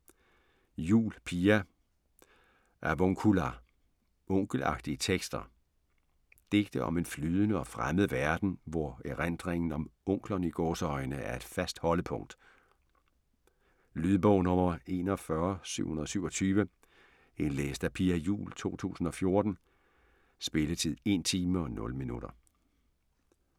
Juul, Pia: Avuncular: onkelagtige tekster Digte om en flydende og fremmed verden, hvor erindringen om "onklerne" er et fast holdepunkt. Lydbog 41727 Indlæst af Pia Juul, 2014. Spilletid: 1 timer, 0 minutter.